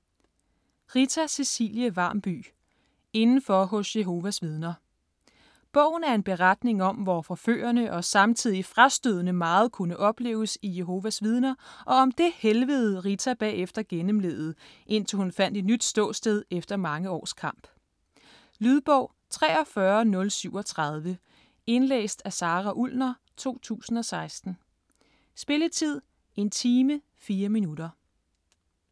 Varmby, Rita Cecilie: Indenfor hos Jehovas vidner Bogen er en beretning om, hvor forførende og samtidig frastødende meget kunne opleves i Jehovas vidner, og om det helvede, Rita bagefter gennemlevede, indtil hun fandt et nyt ståsted efter mange års kamp. Lydbog 43037 Indlæst af Sara Ullner, 2016. Spilletid: 1 time, 4 minutter.